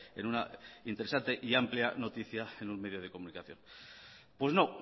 en una interesante y amplia noticia en un medio de comunicación pues no